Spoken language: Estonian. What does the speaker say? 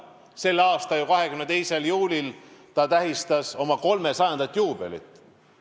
Selle aasta 22. juulil ta tähistas oma 300. aasta juubelit.